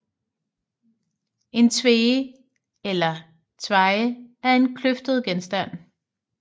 En tvege eller tveje er en kløftet genstand